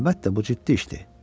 Əlbəttə, bu ciddi işdir.